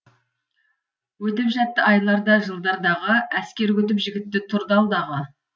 өтіп жатты айлар да жылдар дағы әскер күтіп жігітті тұрды алдағы